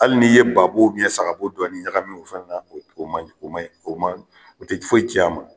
Hali n'i ye ba bo saga bo dɔɔni ɲagami o fana na o ma o ma, o tɛ foyi tiɲɛ a ma.